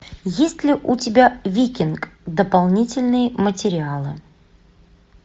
есть ли у тебя викинг дополнительные материалы